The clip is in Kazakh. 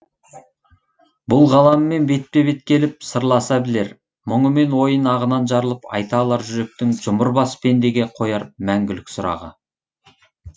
бұл ғаламмен бетпе бет келіп сырласа білер мұңы мен ойын ағынан жарылып айта алар жүректің жұмыр бас пендеге қояр мәңгілік сұрағы